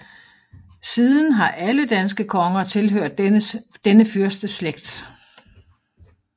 Siden har alle danske konger tilhørt denne fyrsteslægt